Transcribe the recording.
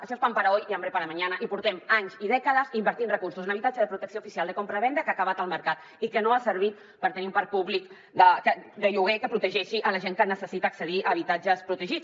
això és pan para hoy y hambre para mañana i portem anys i dècades invertint recursos en habitatge de protecció oficial de compravenda que ha acabat al mercat i que no ha servit per tenir un parc públic de lloguer que protegeixi la gent que necessita accedir a habitatges protegits